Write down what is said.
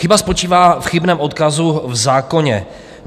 Chyba spočívá v chybném odkazu v zákoně.